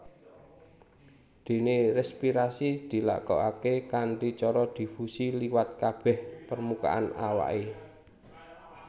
Déné respirasi dilakokaké kanthi cara difusi liwat kabèh permukaan awaké